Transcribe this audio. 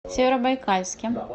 северобайкальске